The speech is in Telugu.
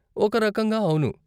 ఒక రకంగా, అవును.